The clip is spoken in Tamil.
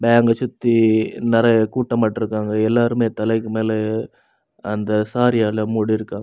அ சுத்தி நெறியா கூட்டோமாட்டோ இருக்காங்க. எல்லாருமே தலைக்கு மேல அந்த சாரீயாள முடிருக்காங்க.